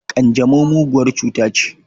Ƙanjamau muguwar cuta ce.